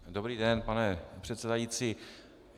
Dobrý den, pane předsedající.